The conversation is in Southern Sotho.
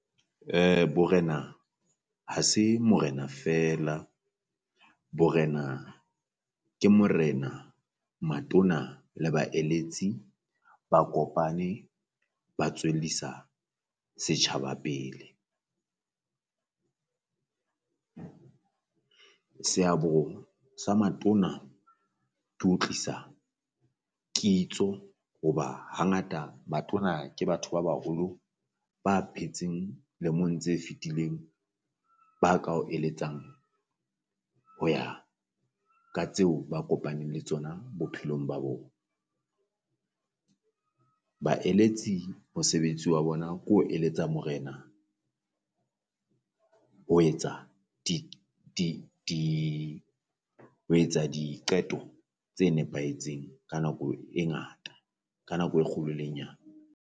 Borena ha se morena feela, borena ke morena matona le baeletsi ba kopane ba tswellisa setjhaba pele. Seabo sa matona to ho tlisa kitso hoba hangata batona ke batho ba baholo ba phetseng lemong tse fetileng ba ka o eletsang ho ya ka tseo ba kopaneng le tsona bophelong ba bo. Baeletsi mosebetsi wa bona ko eletsa morena ho etsa di di di ho etsa diqeto tse nepahetseng ka nako e ngata ka nako e kgolo le e nyane.